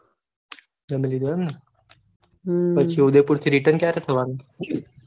જામી લીધું અમને, પછી ઉદયપુર થી return ક્યારે થવાનું